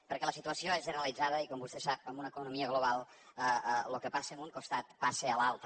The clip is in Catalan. perquè la situació és generalitzada i com vostè sap en una economia global el que passa en un costat passa a l’altre